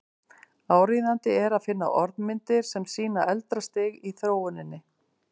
Áríðandi er að finna orðmyndir sem sýna eldra stig í þróuninni.